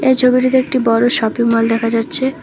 এই ছবিটিতে একটি বড় শপিং মল দেখা যাচ্ছে।